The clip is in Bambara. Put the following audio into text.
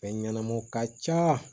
Fɛn ɲɛnamaw ka ca